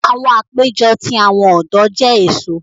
Awọn apejọ ti awọn ọdọ jẹ eso.